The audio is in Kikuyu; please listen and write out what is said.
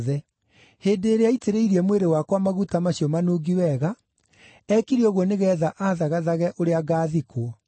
Hĩndĩ ĩrĩa aitĩrĩirie mwĩrĩ wakwa maguta macio manungi wega, eekire ũguo nĩgeetha aathagathage ũrĩa ngaathikwo.